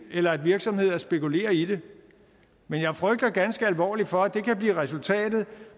eller at virksomheder spekulerer i det men jeg frygter ganske alvorligt for at det kan blive resultatet